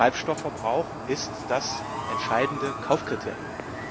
Das heißt, der Treibstoffverbrauch ist das entscheidende Kaufkriterium.